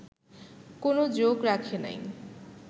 কোন যোগ রাখে নাই